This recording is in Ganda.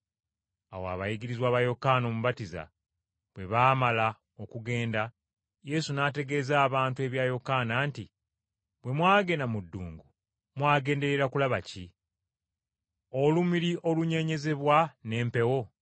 Awo abayigirizwa ba Yokaana Omubatiza bwe baamala okugenda, Yesu n’ategeeza abantu ebya Yokaana nti, “Bwe mwagenda mu ddungu mwagenderera kulaba ki? Olumuli olunyeenyezebwa n’empewo?